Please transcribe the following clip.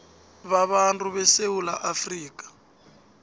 babantu besewula afrika